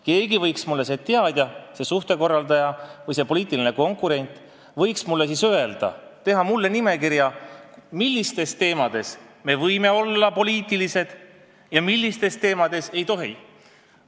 Keegi võiks mulle öelda või keegi teadja, suhtekorraldaja või poliitiline konkurent võiks mulle teha nimekirja, milliste teemade puhul me võime olla poliitilised ja milliste teemade puhul ei tohi.